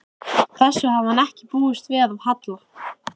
Þessu hafði hann ekki búist við af Halla.